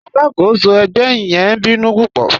Aláàkọ́sọ̀ ẹgbẹ̀ yẹn ǹ bínú púpọ̀.